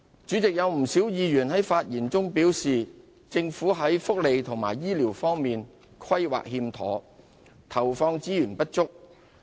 主席，有不少委員在發言中表示，政府在福利及醫療方面的規劃有欠妥善，以及投放資源不足。